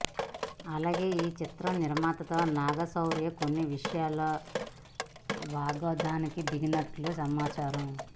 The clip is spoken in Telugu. అలాగే ఈ చిత్ర నిర్మాతలతో నాగ శౌర్య కొన్ని విషయాల్లో వాగ్వాదానికి దిగినట్లు సమాచారం